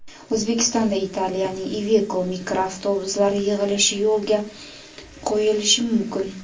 O‘zbekistonda Italiyaning Iveko mikroavtobuslari yig‘ilishi yo‘lga qo‘yilishi mumkin.